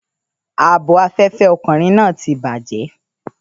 Ààbò afẹ́fẹ́ ọkùnrin náà ti bàjẹ́.